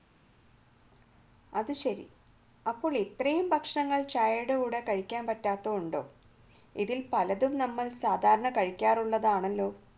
നല്ലതല്ല എന്നാണ് ശാസ്ത്രീയ പഠനങ്ങൾ തെളിയിച്ചിരിക്കുന്നത് കഴിക്കാൻ പറ്റാത്തതുണ്ടോ ഇതിൽ പലതും നമ്മൾ സാധാരണ കഴിക്കാറുള്ളതാണല്ലോ